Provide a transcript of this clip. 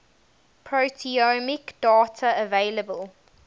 proteomic data available